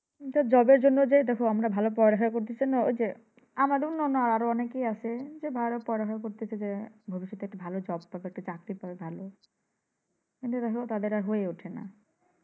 তো job এর জন্য যে দেখো আমরা ভালো পড়ালেখা করতাছিনা ঐযে আমার অন্যান্য আরোও অনেকেই আছে যে ভালো পড়ালেখা করতাছে যে ভবিষ্যৎ একটা ভালো job পাবে ভালো চাকরি পাবে ভালো। এই যে দেখো তাদের আর হয়ে উঠে না।